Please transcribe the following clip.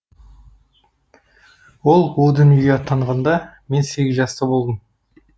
ол о дүниеге аттанғанда мен сегіз жаста болдым